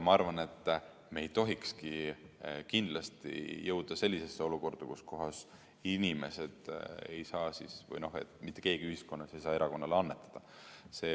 Ma arvan, et me ei tohiks kindlasti jõuda sellisesse olukorda, kus inimesed või mitte keegi ühiskonnas ei saa erakonnale annetada.